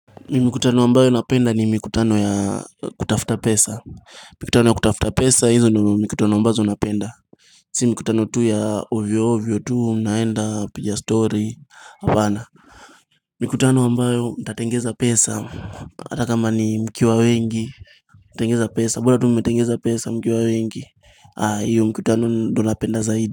Mikutano ambayo napenda ni mikutano ya kutafuta pesa Mikutano ya kutafuta pesa hizo ndio mikutano ambazo napenda Si mkutano tu ya ovyo ovyo tu naenda piga stori hapana Mikutano ambayo ntatengeza pesa hata kama ni mkiwa wengi Tengeza pesa bora tu mmetengeza pesa mkiwa wengi hio mkutano ndio napenda zaidi.